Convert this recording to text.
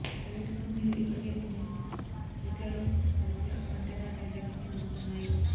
private కంపెనీలు ఇప్పటికే కొన్ని రూట్లలో సరకుల కంటైనర్ రైళ్లను నడుపుతున్నాయి